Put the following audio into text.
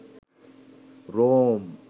Rome